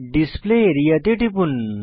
display area তে টিপুন